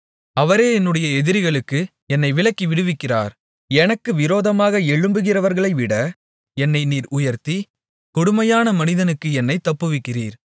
அவரே என்னுடைய எதிரிகளுக்கு என்னை விலக்கி விடுவிக்கிறவர் எனக்கு விரோதமாக எழும்புகிறவர்களைவிட என்னை நீர் உயர்த்தி கொடுமையான மனிதனுக்கு என்னைத் தப்புவிக்கிறீர்